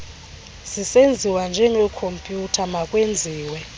zisenziwa ngekhompyutha makwenziwe